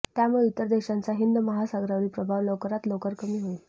त्यामुळे इतर देशांचा हिंद महासागरावरील प्रभाव लवकरात लवकर कमी होईल